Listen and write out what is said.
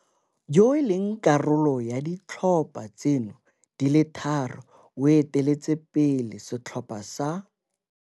Yo e leng karolo ya ditlhopha tseno di le thataro o eteletse pele setlhopha sa.